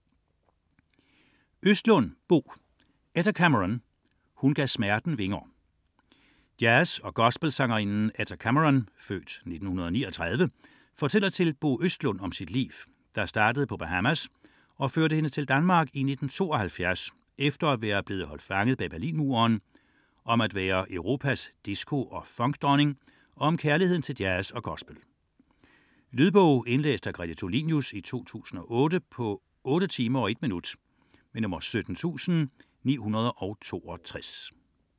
99.4 Cameron, Etta Østlund, Bo: Etta Cameron: hun gav smerten vinger Jazz- og gospelsangerinden Etta Cameron (f. 1939) fortæller til Bo Østlund om sit liv, der startede på Bahamas og førte hende til Danmark i 1972 efter at være blevet holdt fanget bag Berlinmuren, om at være Europas disco- og funkdronning og om kærligheden til jazz og gospel. Lydbog 17962 Indlæst af Grete Tulinius, 2008. Spilletid: 8 timer, 1 minut.